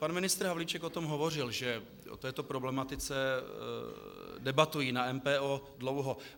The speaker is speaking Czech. Pan ministr Havlíček o tom hovořil, že o této problematice debatují na MPO dlouho.